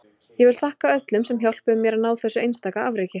Ég vil þakka öllum sem hjálpuðu mér að ná þessu einstaka afreki.